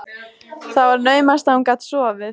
Það var naumast að hún gat sofið.